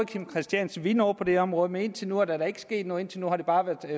kim christiansen ville noget på det område men indtil nu er der ikke sket noget indtil nu har det bare været